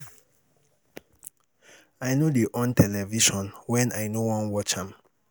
I no dey on television wen I no wan watch am.